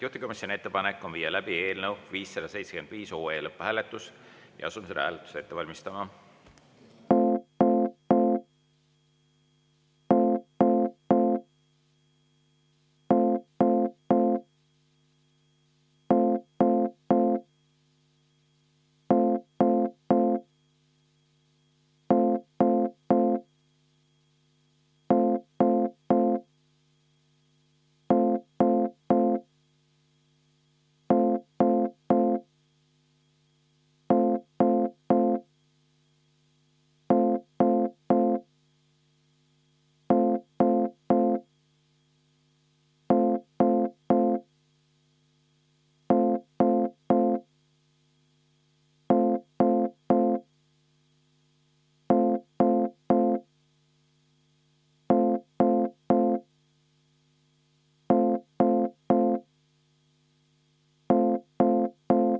Juhtivkomisjoni ettepanek on viia läbi eelnõu 575 lõpphääletus ja asume seda hääletust ette valmistama.